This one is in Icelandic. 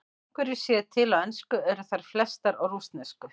Þó einhverjar séu til á ensku eru þær flestar á rússnesku.